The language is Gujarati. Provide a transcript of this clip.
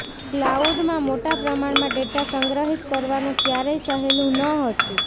ક્લાઉડમાં મોટા પ્રમાણમાં ડેટા સંગ્રહિત કરવાનું ક્યારેય સહેલું ન હતું